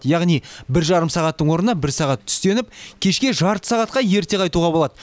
яғни бір жарым сағаттың орнына бір сағат түстеніп кешке жарты сағатқа ерте қайтуға болады